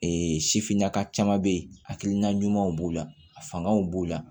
Ee sifinnaka caman bɛ yen hakilina ɲumanw b'o la a fangaw b'o la